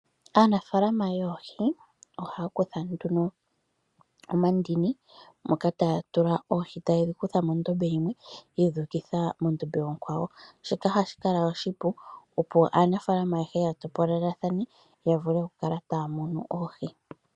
Aanafaalama yoohi ohaya kutha nduno omandini moka taya tula oohi taye dhi kutha mondome yimwe, yedhi ukitha mondombe onkwawo, shika ohashi kala oshipu opo aanafaalama ayehe ya topolelathane yavule okukala taya munu oohi.